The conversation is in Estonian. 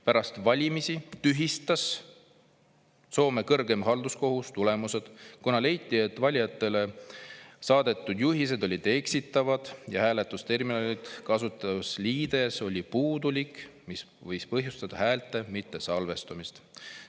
Pärast valimisi tühistas Soome kõrgem halduskohus tulemused, kuna leiti, et valijatele saadetud juhised olid eksitavad ja hääletusterminali kasutusliides oli puudulik, mis võis põhjustada häälte mittesalvestumist.